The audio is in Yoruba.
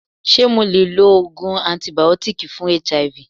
Ṣé mo le lo Ògùn antìbìótíkì fún HIV?